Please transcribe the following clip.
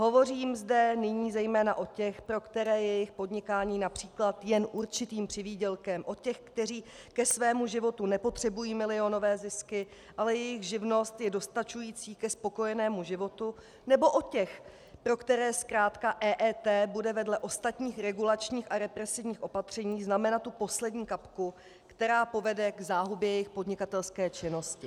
Hovořím zde nyní zejména o těch, pro které je jejich podnikání například jen určitým přivýdělkem, o těch, kteří ke svému životu nepotřebují milionové zisky, ale jejich živnost je dostačující ke spokojenému životu, nebo o těch, pro které zkrátka EET bude vedle ostatních regulačních a represivních opatření znamenat tu poslední kapku, která povede k záhubě jejich podnikatelské činnosti. .